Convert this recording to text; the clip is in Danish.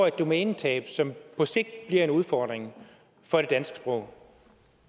et domænetab som på sigt bliver en udfordring for det danske sprog